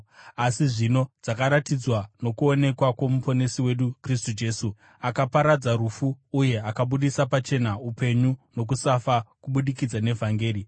asi zvino dzakaratidzwa nokuonekwa kwoMuponesi wedu Kristu Jesu, akaparadza rufu uye akabudisa pachena upenyu nokusafa kubudikidza nevhangeri.